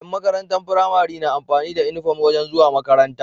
Yan makarantar pramari na amfani da inufom wajan zuwa makaranta